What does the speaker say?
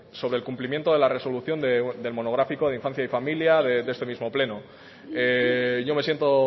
sobre el cumplimiento de la resolución del monográfico de infancia y familia de este mismo pleno yo me siento